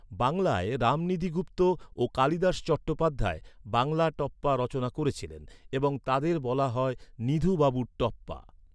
বাংলায় রামনিধি গুপ্ত ও কালিদাস চট্টোপাধ্যায় বাংলা টপ্পা রচনা করেছিলেন এবং তাদের বলা হয় নিধু বাবুর টপ্পা।